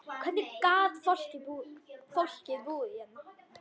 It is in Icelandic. Hvernig gat fólk búið hérna?